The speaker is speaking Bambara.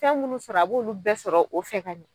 Fɛn munnu sɔrɔ a b'olu bɛɛ sɔrɔ o fɛ ka ɲɛ.